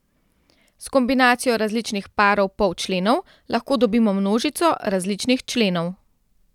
S kombinacijo različnih parov polčlenov lahko dobimo množico različnih členov.